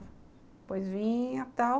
Depois vinha tal.